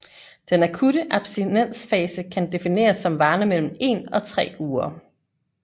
Den akutte abstinensfase kan defineres som varende mellem en og tre uger